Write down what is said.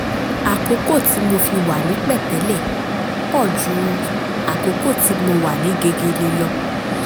àkókò tí mo fi wà ní pẹ̀tẹ́lẹ̀ pọ̀ ju àkókò tí mo wà ní gegele lọ